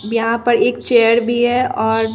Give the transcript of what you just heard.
यहां पर एक चेयर भी है और--